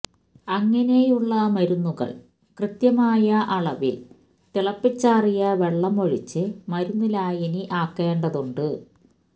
അങ്ങനെയുള്ള മരുന്നുകൾ ക്യത്യമായ അളവിൽ തിളപ്പിച്ചാറിയ വെള്ളം ഒഴിച്ച് മരുന്നു ലായനി ആക്കേതുണ്ട്